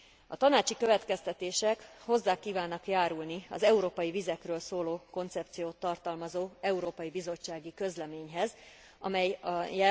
A tanácsi következtetések hozzá kívánnak járulni az európai vizekről szóló koncepciót tartalmazó európai bizottsági közleményhez, amelyet a